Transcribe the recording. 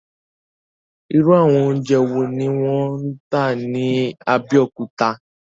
Irú àwọn oúnjẹ wo ni wọ́n ń tà ní Abẹ́òkúta?